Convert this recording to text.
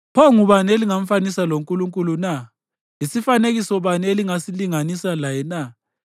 Pho ngubani elingamfanisa loNkulunkulu na? Yisifanekiso bani elingasilinganisa laye na?